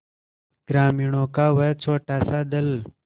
ग्रामीणों का वह छोटासा दल